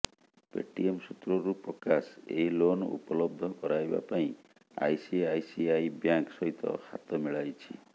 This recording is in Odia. ପେଟିଏମ ସୂତ୍ରରୁ ପ୍ରକାଶ ଏହି ଲୋନ ଉପଲବ୍ଧ କରାଇବା ପାଇଁ ଆଇସିଆଇସିଆଇ ବ୍ୟାଙ୍କ ସହିତ ହାତ ମିଳାଇଛି